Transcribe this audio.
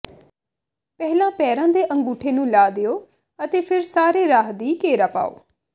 ਪਹਿਲਾਂ ਪੈਰਾਂ ਦੇ ਅੰਗੂਠੇ ਨੂੰ ਲਾ ਦਿਓ ਅਤੇ ਫਿਰ ਸਾਰੇ ਰਾਹ ਦੀ ਘੇਰਾ ਪਾਓ